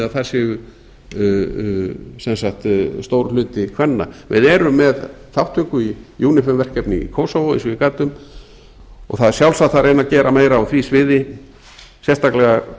að það sé stór hluti kvenna við erum með þátttöku í unifem verkefni í kósósvó eins og ég gat um og það er sjálfsagt að reyna að gera meira á því sviði sérstaklega